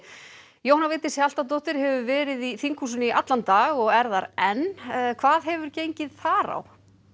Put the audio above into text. Jóhanna Vigdís Hjaltadóttir hefur verið í þinghúsinu í allan dag og er þar enn hvað hefur gengið þar á